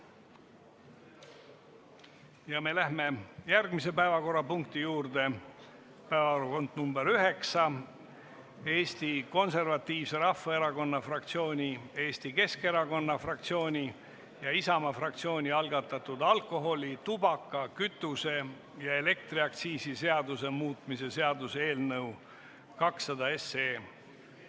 Me läheme järgmise päevakorrapunkti juurde, päevakorrapunkt nr 9, Eesti Konservatiivse Rahvaerakonna fraktsiooni, Eesti Keskerakonna fraktsiooni ja Isamaa fraktsiooni algatatud alkoholi-, tubaka-, kütuse- ja elektriaktsiisi seaduse muutmise seaduse eelnõu 207.